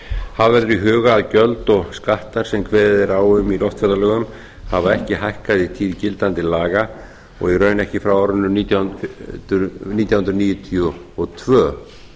hafa verður í huga að gjöld og skattar sem kveðið er á um í loftferðalögum hafa ekki hækkað í tíð gildandi laga og í raun ekki frá árinu nítján hundruð níutíu og tvö